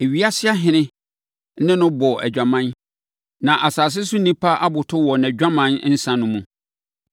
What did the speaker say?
Ewiase ahene ne no bɔɔ adwaman, na asase so nnipa aboto wɔ nʼadwaman nsã no mu.”